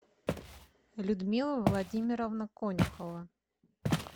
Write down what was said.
людмила владимировна конюхова